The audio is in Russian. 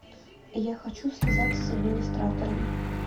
я хочу связаться с администратором